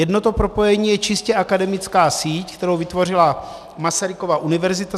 Jedno to propojení je čistě akademická síť, kterou vytvořila Masarykova univerzita.